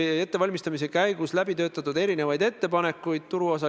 Kui üks omavalitsus, ministeerium näeb seda omamoodi, siis ta ka teeb seda omamoodi.